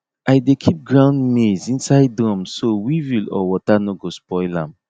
i dey keep ground maize inside drum so weevil or water no go spoil am